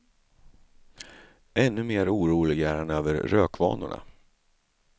Ännu mer orolig är han över rökvanorna.